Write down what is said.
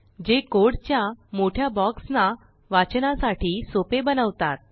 जे कोडच्यामोठ्या ब्लॉक्सना वाचनासाठी सोपे बनवतात